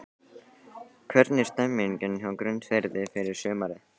Hvernig er stemningin hjá Grundarfirði fyrir sumarið?